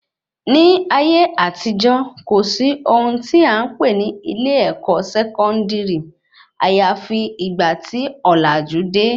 Ní ayé àtijọ́, kò sí ohun tí a npè ní ilé-èkó sẹkọndiri àyàfi ìgbà tí òlàjú de